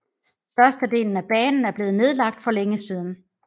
Størstedelen af banen er blevet nedlagt for længe siden